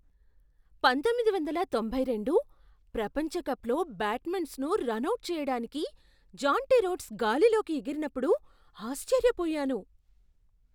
పంతొమ్మిది వందల తొంభై రెండు ప్రపంచ కప్లో బ్యాట్స్మాన్ను రనౌట్ చేయడానికి జాంటీ రోడ్స్ గాలిలోకి ఎగిరినప్పుడు ఆశ్చర్యపోయాను.